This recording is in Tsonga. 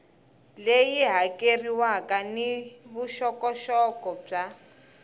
leyi hakeriwaka ni vuxokoxoko bya